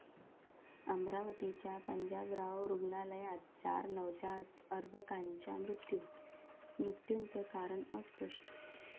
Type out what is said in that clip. अमरावतीच्या पंजाबराव रुग्णालयात चार नवजात अर्भकांचा मृत्यू, मृत्यूचं कारण अस्पष्ट